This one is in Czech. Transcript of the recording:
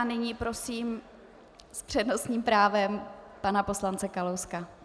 A nyní prosím s přednostním právem pana poslance Kalouska.